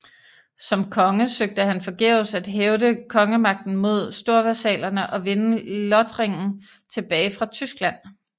Som konge søgte han forgæves at hævde kongemagten mod storvasallerne og vinde Lothringen tilbage fra Tyskland